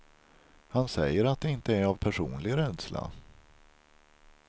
Han säger att det inte är av personlig rädsla.